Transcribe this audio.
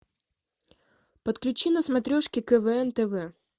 подключи на смотрешке квн тв